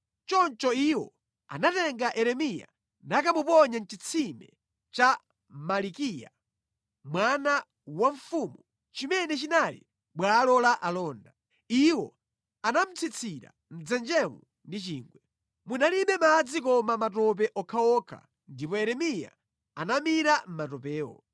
Choncho iwo anatenga Yeremiya nakamuponya mʼchitsime cha Malikiya, mwana wa mfumu, chimene chinali mʼbwalo la alonda. Iwo anamutsitsira mʼdzenjemo ndi chingwe. Munalibe madzi koma matope okhaokha, ndipo Yeremiya anamira mʼmatopewo.